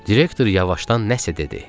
Direktor yavaşdan nəsə dedi.